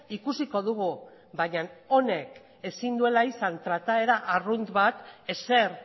ikusiko dugu baina honek ezin duela izan trataera arrunt bat ezer